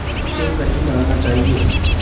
उसे कर ही डालना चाहिए